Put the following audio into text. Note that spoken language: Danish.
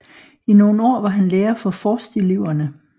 I nogle år var han lærer for forsteleverne